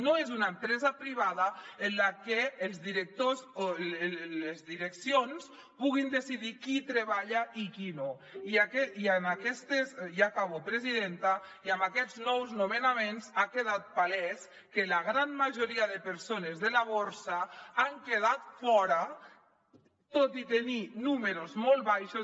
no és una empresa privada en la que els directors o les direccions puguin decidir qui hi treballa i qui no ja acabo presidenta i amb aquests nous nomenaments ha quedat palès que la gran majoria de persones de la borsa n’han quedat fora tot i tenir números molt baixos